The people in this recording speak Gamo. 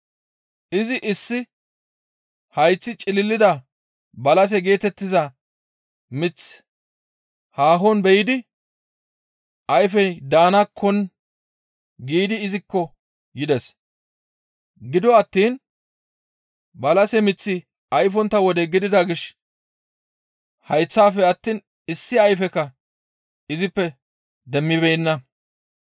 Izi issi hayththi cililida balase geetettiza miththi haahon be7idi ayfey daanakkon giidi izikko yides. Gido attiin balase miththi ayfontta wode gidida gishshas hayththafe attiin issi ayfekka izippe demmibeenna.